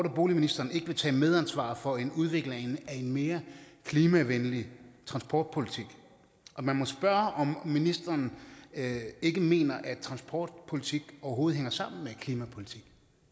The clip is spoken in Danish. og boligministeren ikke vil tage medansvar for en udvikling af en mere klimavenlig transportpolitik og man må spørge om ministeren mener at transportpolitik overhovedet hænger sammen med klimapolitik